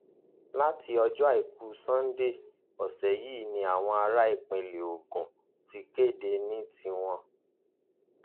láti ọjọ àìkú sannde ọsẹ yìí ni àwọn ará ìpínlẹ ogun ti kéde ní tiwọn